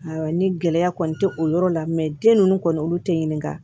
Awɔ ni gɛlɛya kɔni tɛ o yɔrɔ la den ninnu kɔni olu tɛ ɲininka